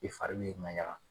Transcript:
I fari b'i ŋayaka.